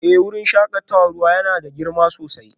Eh wurin shakatawar ruwa yana da girma sosai